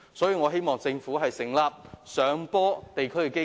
所以，我希望政府成立"上坡電梯基金"。